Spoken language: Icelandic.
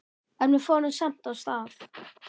En við fórum samt af stað.